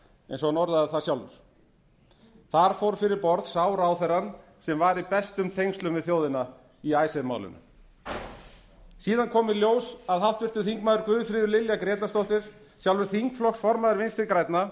eins og hann orðaði það sjálfur þar fór fyrir borð sá ráðherrann sem var í bestum tengslum við þjóðina í icesave málinu síðan kom í ljós að háttvirtur þingmaður guðfríður lilja grétarsdóttir sjálfur þingflokksformaður vinstri grænna